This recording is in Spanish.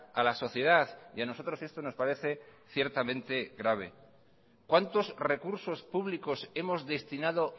a la sociedad y a nosotros esto nos parece ciertamente grave cuántos recursos públicos hemos destinado